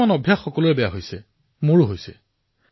কিছুমান অভ্যাস যি সকলোৰে বেয়া হৈছে সেয়া মোৰো বেয়া হৈছে